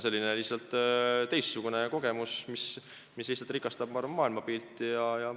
See on lihtsalt teistsugune kogemus, mis rikastab, ma arvan, maailmapilti.